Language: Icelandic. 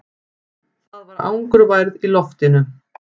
Það var angurværð í loftinu.